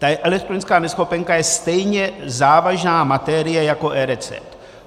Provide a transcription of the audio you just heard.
Ta elektronická neschopenka je stejně závažná materie jako eRecept.